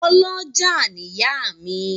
Ọ́lọjá ni ìyá mi